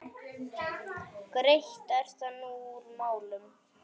Greitt er þar úr málum.